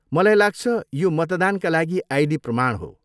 मलाई लाग्छ यो मतदानका लागि आइडी प्रमाण हो।